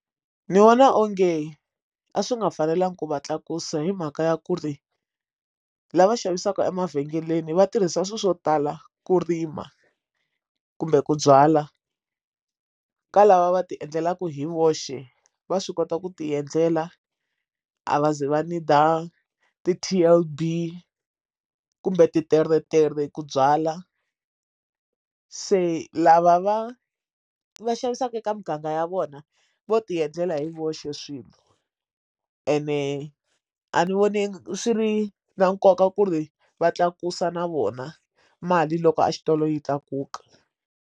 Ndzi vona onge a swi nga fanelangi ku va tlakusa hi mhaka ya ku ri lava xavisaka emavhengeleni vatirhisa swilo swo tala ku rima kumbe ku byala ka lava va ti endlelaku hi voxe va swi kota ku ti endlela a va ze va ndzi dye ti ti kolbe kumbe titeretere ku byala se lava va va xavisaka eka muganga ya vona vo ti endlela hi voxe swilo ene a ni voni swi ri na nkoka ku ri va tlakusa na vona mali loko a xitolo yi tlakuka.